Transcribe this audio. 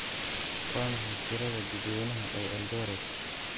Waa maxay tirada dadweynaha ee Eldoret?